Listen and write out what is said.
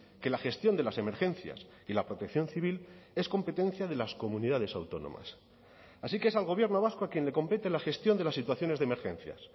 que la gestión de las emergencias y la protección civil es competencia de las comunidades autónomas así que es al gobierno vasco a quien le compete la gestión de las situaciones de emergencias